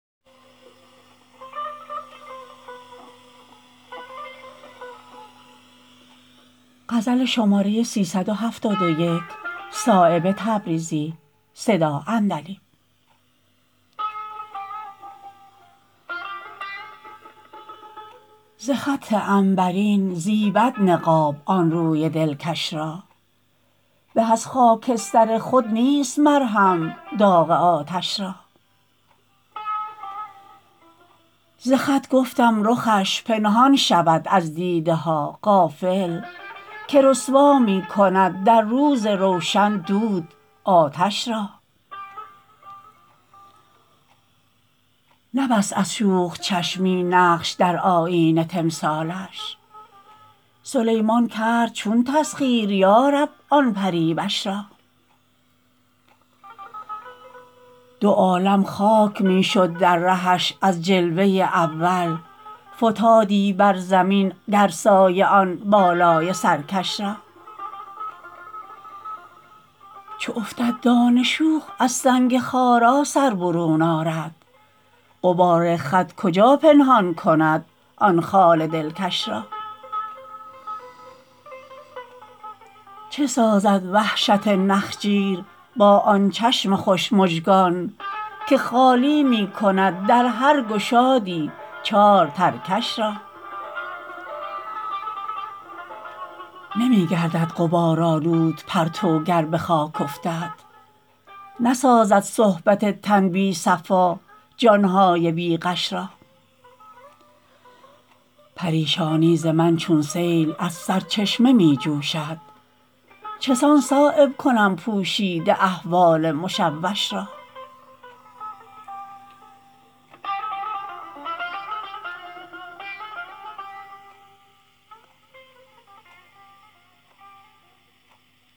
ز خط عنبرین زیبد نقاب آن روی دلکش را به از خاکستر خود نیست مرهم داغ آتش را ز خط گفتم رخش پنهان شود از دیده ها غافل که رسوا می کند در روز روشن دود آتش را نبست از شوخ چشمی نقش در آیینه تمثالش سلیمان کرد چون تسخیر یارب آن پریوش را دو عالم خاک می شد در رهش از جلوه اول فتادی بر زمین گر سایه آن بالای سرکش را چو افتد دانه شوخ از سنگ خارا سر برون آرد غبار خط کجا پنهان کند آن خال دلکش را چه سازد وحشت نخجیر با آن چشم خوش مژگان که خالی می کند در هر گشادی چار ترکش را نمی گردد غبار آلود پرتو گر به خاک افتد نسازد صحبت تن بی صفا جان های بی غش را پریشانی ز من چون سیل از سرچشمه می جوشد چسان صایب کنم پوشیده احوال مشوش را